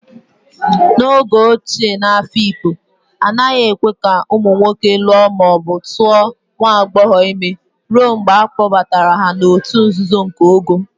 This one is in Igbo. N'oge ochie n'Afikpo, a naghị ekwe ka ụmụ nwoke lụọ ma ọ bụ tuo nwa agbọghọ ime ruo mgbe a kpọbatara ha n'òtù nzuzo nke ogo.